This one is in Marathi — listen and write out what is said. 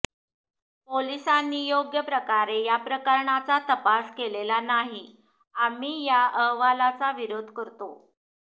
पोलिसांनी योग्यप्रकारे या प्रकरणाचा तपास केलेला नाही आम्ही या अहवालाचा विरोध करतो